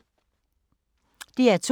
DR2